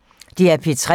DR P3